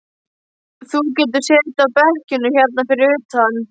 Þú getur setið á bekkjunum hérna fyrir utan.